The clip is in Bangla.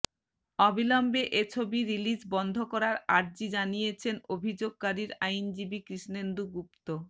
অবিলম্বে এ ছবি রিলিজ বন্ধ করার আর্জি জানিয়েছেনঅভিযোগকারীর আইনজীবী কৃষ্ণেন্দু গুপ্তু